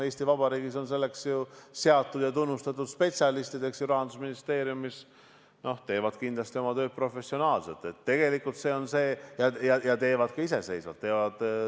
Eesti Vabariigis on selleks ju seatud ja tunnustatud spetsialistid Rahandusministeeriumis, kes teevad kindlasti oma tööd professionaalselt ja teevad ka iseseisvalt.